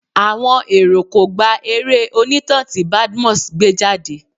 Àwọn èrò kò gba eré onítàn tí Badmus gbé jáde.